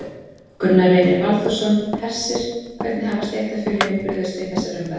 Gunnar Reynir Valþórsson: Hersir, hvernig hafa stéttarfélögin brugðist við þessari umræðu?